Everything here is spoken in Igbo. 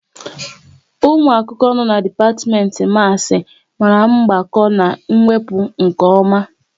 Ụmụ akwụkwọ no n'dipatimenti Maasi mara mgbakọ na wepụ nke oma